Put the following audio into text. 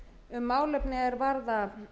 um málefni er varða